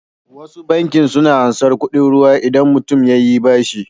Wasu bankin suna ansar kuɗin ruwa idabn mutun yayi bashi